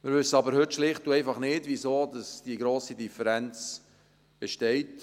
Wir wissen aber heute schlicht und einfach nicht, wieso diese grosse Differenz besteht.